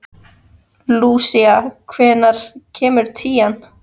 Lúsía, hvenær kemur tían?